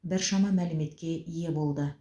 біршама мәліметке ие болды